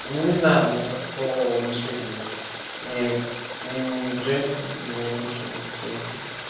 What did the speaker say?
не знаю у меня просто полового влечения нет ни к ни к женщинам ни к мужчинам вообще ни к чему